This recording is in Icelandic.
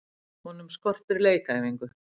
Honum skortir leikæfingu.